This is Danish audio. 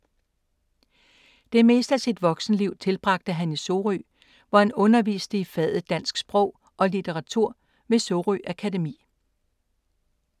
Det meste af sit voksenliv tilbragte han i Sorø, hvor han underviste i faget Dansk Sprog og Litteratur ved Sorø Akademi.